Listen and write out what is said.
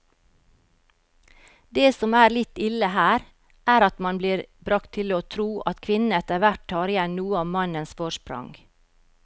Det som er litt ille her, er at man blir bragt til å tro at kvinnene etterhvert tar igjen noe av mannens forsprang.